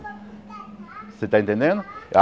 Você está entendendo?